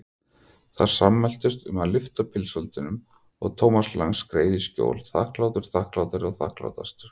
Þær sammæltust um að lyfta pilsfaldinum og Thomas Lang skreið í skjól, þakklátur, þakklátari, þakklátastur.